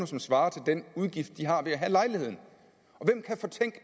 som svarer til den udgift de har ved at have lejligheden